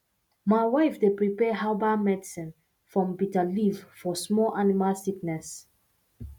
my wife dey prepare herbal medicine from bitter leaf for small animal sickness